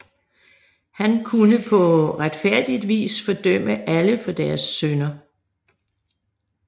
Han kunne på retfærdigt vis fordømme alle for deres synder